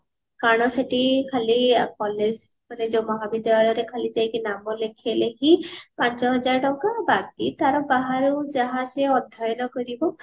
କାରଣ ସେଠି ଖାଲି collage ରେ ଯୋଉ ମହାବିଦ୍ୟାଳୟରେ ଖାଲି ଯାଇକି ନାମ ଲେଖେଇଲେ ହିନ ପାଞ୍ଚ ହଜାର ଟଙ୍କା ବାକି ତାର ବାହାରୁ ଯାହା ସିଏ ଅଧ୍ୟୟନ କରିବ